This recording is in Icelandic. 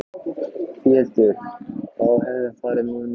Pétur: Þá hefði farið mun verr?